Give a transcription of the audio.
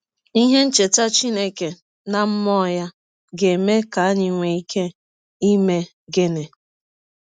Ihe ncheta Chineke na mmụọ ya ga - eme ka anyị nwee ike ime gịnị?